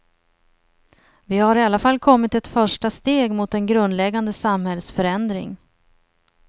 Vi har i alla fall kommit ett första steg mot en grundläggande samhällsförändring.